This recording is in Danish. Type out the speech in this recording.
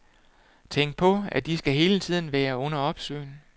Tænk på, de skal hele tiden være under opsyn.